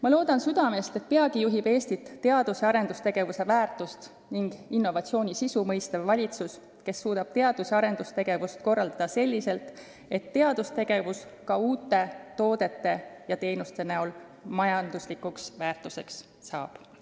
Ma loodan südamest, et peagi juhib Eestit teadus- ja arendustegevuse väärtust ning innovatsiooni sisu mõistev valitsus, kes suudab teadus- ja arendustegevust korraldada selliselt, et teadustegevus ka uute toodete ja teenuste näol majanduslikuks väärtuseks saab.